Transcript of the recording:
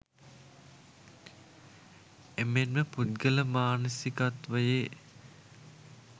එමෙන්ම පුද්ගල මානසිකත්වයේ